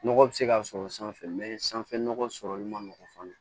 Nɔgɔ bɛ se ka sɔrɔ sanfɛ sanfɛ nɔgɔ sɔrɔli man nɔgɔn fana